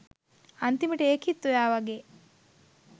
අන්තිමට ඒකිත් ඔයා වගේ